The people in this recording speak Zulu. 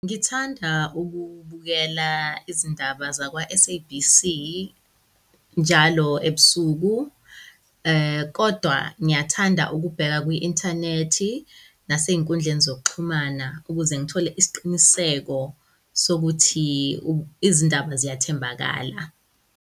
Ngithanda ukubukela izindaba zakwa-S_A_B_C njalo eb'suku kodwa ngiyathanda ukubheka ku-inthanethi nasey'nkundleni zokuxhumana ukuze ngithole isiqiniseko sokuthi izindaba ziyathembakala.